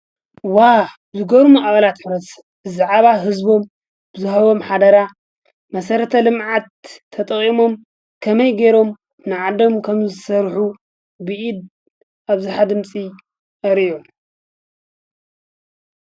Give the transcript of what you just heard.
ዋ ዝገርሙ ኣቕላት ኅረስ ዘዓባ ሕዝቦም ብዝሃቦም ኃደራ መሠረተ ልምዓት ተጠቐሞም ከመይ ገይሮም ንዓዶም ከም ዘሠርኁ ብኢድ ኣብዝኃ ድምፂ ኣርእዮም::